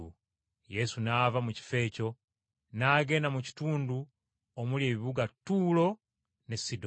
Yesu n’ava mu kifo ekyo, n’agenda mu kitundu omuli ebibuga Ttuulo ne Sidoni.